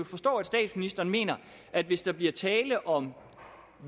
forstå at statsministeren mener at hvis der bliver tale om